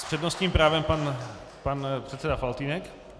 S přednostním právem pan předseda Faltýnek.